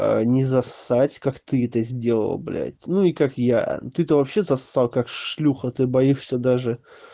не зассать как ты это сделал блядь ну и как я ты-то вообще зассал как шлюха ты боишься даже